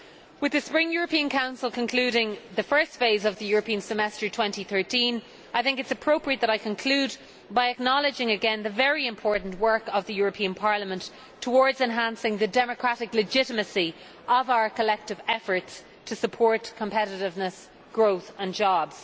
With the Spring European Council concluding the first phase of the European Semester 2013, I think it is appropriate that I conclude by acknowledging again the very important work of the European Parliament towards enhancing the democratic legitimacy of our collective efforts to support competitiveness, growth and jobs.